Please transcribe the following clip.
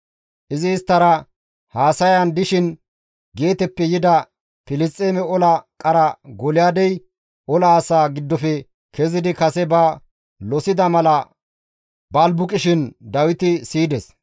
Izi isttara haasayan dishin Geeteppe yida Filisxeeme ola qara Golyaadey ola asaa giddofe kezidi kase ba losida mala balbuqishin Dawiti siyides.